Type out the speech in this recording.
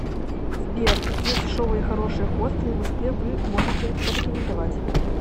сбер какие дешевые и хорошие хостелы в москве вы можете порекомендовать